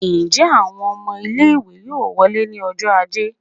njẹ awọn ọmọ ile-iwe yọọ wolẹ́ ni ọjọ ajé?